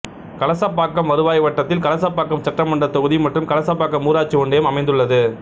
கலசப்பாக்கம் வருவாய் வட்டத்தில் கலசப்பாக்கம் சட்டமன்றத் தொகுதி மற்றும் கலசப்பாக்கம் ஊராட்சி ஒன்றியம் அமைந்துள்ளது